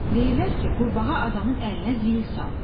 Deyirlər ki, qurbağa adamın əlinə zil salır.